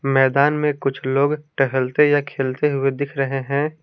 मैदान में कुछ लोग टहलते या खेलते हुए दिख रहे हैं।